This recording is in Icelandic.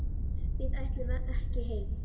Við ætlum ekki heim!